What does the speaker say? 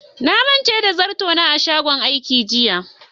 Na manta da sabon zarto na a shagon aiki jiya.